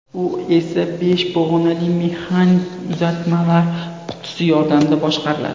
U esa besh pog‘onali mexanik uzatmalar qutisi yordamida boshqariladi.